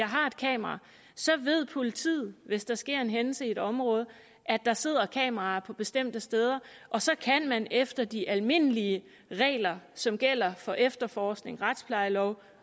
har et kamera så ved politiet hvis der sker en hændelse i et område at der sidder kameraer på bestemte steder og så kan man efter de almindelige regler som gælder for efterforskning retsplejelov